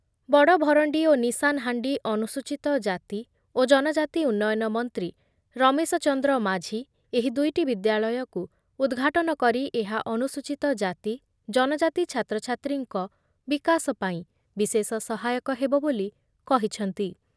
ବଡଭରଣ୍ଡି ଓ ନିଷାନ୍‌ହାଣ୍ଡି ଅନୁସୂଚିତ ଜାତି ଓ ଜନଜାତି ଉନ୍ନୟନ ମନ୍ତ୍ରୀ ରମେଶଚନ୍ଦ୍ର ମାଝି ଏହି ଦୁଇଟି ବିଦ୍ୟାଳୟକୁ ଉଦ୍‌ଘାଟନ କରି ଏହା ଅନୁସୂଚିତ ଜାତି ଜନଜାତି ଛାତ୍ରଛାତ୍ରୀଙ୍କ ବିକାଶ ପାଇଁ ବିଶେଷ ସହାୟକ ହେବ ବୋଲି କହିଛନ୍ତି ।